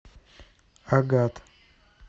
агат